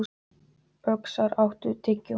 Öxar, áttu tyggjó?